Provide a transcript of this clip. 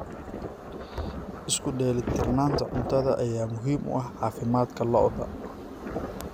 Isku dheelitirnaanta cuntada ayaa muhiim u ah caafimaadka lo'da.